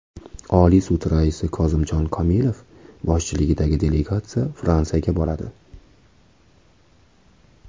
Oliy sud raisi Kozimjon Komilov boshchiligidagi delegatsiya Fransiyaga boradi.